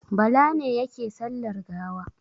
Bala ne yake sallar gawa.